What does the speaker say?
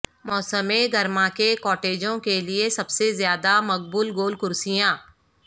موسم گرما کے کاٹیجوں کے لئے سب سے زیادہ مقبول گول کرسیاں